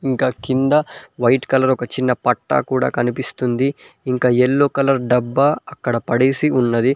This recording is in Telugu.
ఇంకా కింద వైట్ కలర్ ఒక చిన్న పట్టా కూడా కనిపిస్తుంది ఇంకా ఎల్లో కలర్ డబ్బా అక్కడ పడేసి ఉన్నది.